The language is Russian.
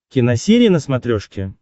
киносерия на смотрешке